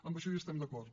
en això hi estem d’acord